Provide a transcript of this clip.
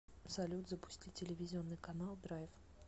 салют запусти телевизионный канал драйв